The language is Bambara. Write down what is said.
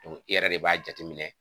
e yɛrɛ de b'a jateminɛ.